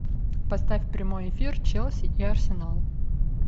поставь прямой эфир челси и арсенал